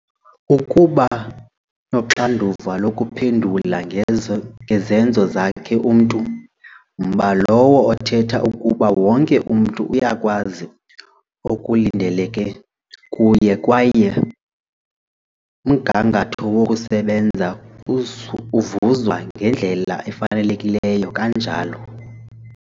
Ukuba noxanduva lokuphendula ngezenzo zakhe umntu, mba lowo othetha ukuba wonke umntu uyakwazi okulindeleke kuye kwaye umgangatho wokusebenza uvuzwa ngendlela efanelekileyo, kananjalo